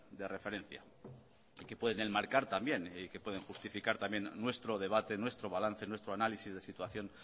de referencia y que pueden enmarcar también y que pueden justificar también nuestro debate nuestro balance nuestro análisis de situación